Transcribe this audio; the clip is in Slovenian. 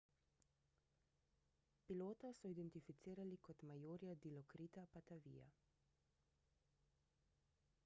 pilota so identificirali kot majorja dilokrita pattaveeja